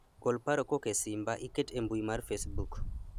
gol paro kowuok e simba iket e mbui mar facebook